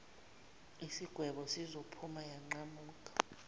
isigwebo sizophu yanqamuka